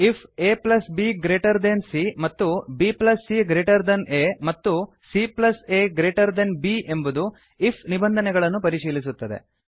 ifabಸಿಎ A plus B greater than C ಮತ್ತು bcಆ B plus C greater than A ಮತ್ತು caಬ್ C plus A greater than B ಎಂಬುದು ಐಎಫ್ ನಿಬಂಧನೆಗಳನ್ನು ಪರಿಶೀಲಿಸುತ್ತದೆ